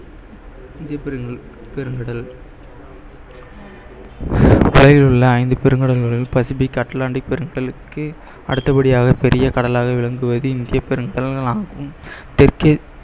India பெருங்~ பெருங்கடல் உலகில் உள்ள ஐந்து பெருங்கடல்களில் பசிபிக் அட்லாண்டிக் பெருங்கலுக்கு அடுத்தபடியாக பெரிய கடலாக விளங்குவது இந்திய பெருங்கடல் ஆகும் தெற்க்கே